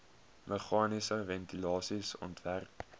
meganiese ventilasie ontwerp